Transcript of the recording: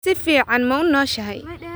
Si fiican ma u nooshahay?